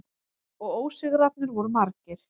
Og ósigrarnir voru margir.